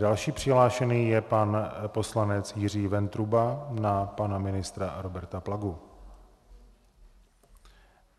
Další přihlášený je pan poslanec Jiří Ventruba na pana ministra Roberta Plagu.